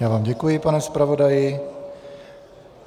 Já vám děkuji, pane zpravodaji.